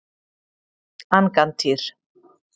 Angantýr